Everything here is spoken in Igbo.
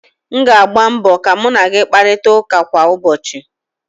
m ga-agba mbọ ka mu na gị kparịta ụka kwa ụbọchị